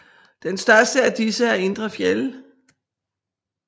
Den største af disse er Idre Fjäll